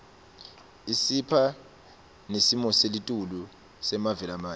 isipha nesimoselitulu semave lamanye